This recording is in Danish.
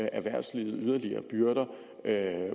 erhvervslivet yderligere byrder